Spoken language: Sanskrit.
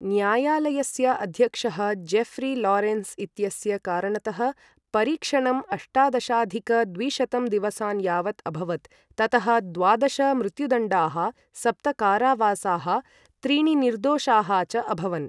न्यायालयस्य अध्यक्षः जेफ्री लारेन्स् इत्यस्य कारणतः परीक्षणं अष्टादशाधिक द्विशतं दिवसान् यावत् अभवत्, ततः द्वादश मृत्युदण्डाः, सप्त कारावासाः, त्रीणि निर्दोषाः च अभवन्।